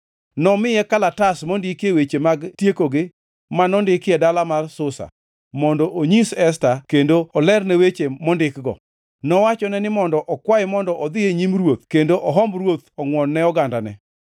Nomiye kalatas mondikie weche mag tiekogi ma nondiki e dala mar Susa, mondo onyis Esta kendo olerne weche mondikgo, nowachone ni mondo okwaye mondo odhi e nyim ruoth kendo ohomb ruoth ongʼwon ne ogandane.